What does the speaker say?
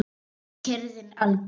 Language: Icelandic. Og kyrrðin algjör.